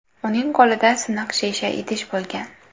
Uning qo‘lida siniq shisha idish bo‘lgan.